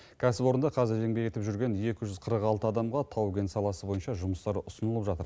кәсіпорында қазір еңбек етіп жүрген екі жүз қырық алты адамға тау кен саласы бойынша жұмыстар ұсынылып жатыр